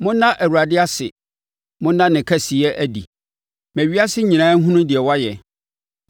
Ɛda Awurade ase na da ne kɛseyɛ adi. Ma ewiase nyinaa nhunu deɛ wayɛ.